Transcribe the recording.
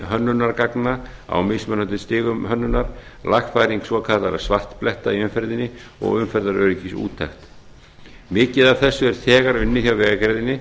hönnunargagna á mismunandi stigum hönnunar lagfæring svokallaðra svartbletta í umferðinni og umferðaröryggisúttekt mikið af þessu er þegar unnið hjá vegagerðinni